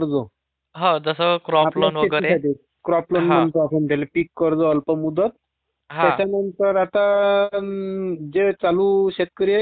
Crop loan म्हणतो आपण त्याला पिक कर्ज त्याच्यानंतर आता चालू शेतकरी आहे की नाही चालू म्हणजे ज्याचा वहार चालू हाय.